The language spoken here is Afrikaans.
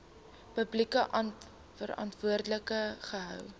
publiek verantwoordelik gehou